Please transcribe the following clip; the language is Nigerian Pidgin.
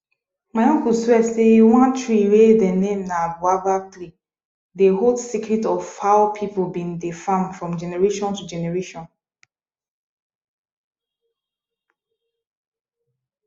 my uncle swear say one tree wey de name na boabab tree dey hold secrets of how people been dey farm from generation to generation